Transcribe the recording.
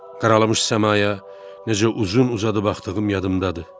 Qaralamış səmaya necə uzun-uzadı baxdığım yadımdadır.